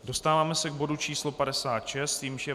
Dostáváme se k bodu číslo 56, jímž je